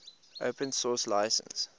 open source license